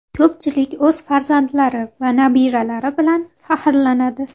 Ko‘pchilik o‘z farzandlari va nabiralari bilan faxrlanadi.